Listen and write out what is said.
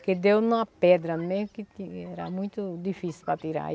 Porque deu em uma pedra mesmo tinha, que era muito difícil para tirar.